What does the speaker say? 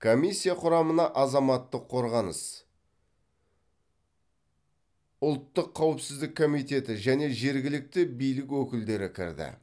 комиссия құрамына азаматтық қорғаныс ұлттық қауіпсіздік комитеті және жергілікті билік өкілдері кірді